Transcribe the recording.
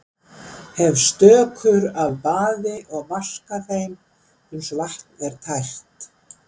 Hef stökur af baði og vaska þeim uns vatn er tært.